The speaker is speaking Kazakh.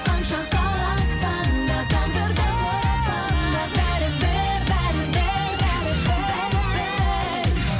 қанша қаласаң да тағдырдан сұрасаң да бәрібір бәрібір бәрібір